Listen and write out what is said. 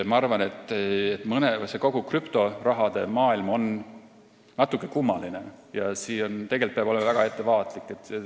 Ma arvan, et kogu krüptoraha maailm on natuke kummaline ja tegelikult peab olema väga ettevaatlik.